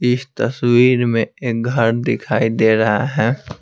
इस तस्वीर में एक घर दिखाई दे रहा है।